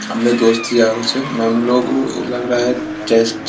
अपने दोस्त यारो से मेम लोग लग रहा हैं ।